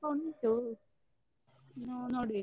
ಸ್ವಲ್ಪ ಉಂಟು ಇನ್ನೂ ನೋಡ್ಬೇಕು.